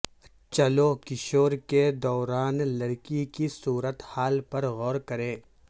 چلو کشور کے دوران لڑکی کی صورت حال پر غور کریں